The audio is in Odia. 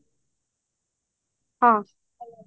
ହଁ